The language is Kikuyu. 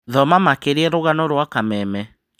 Thoma makĩria rũgano rwa Kameme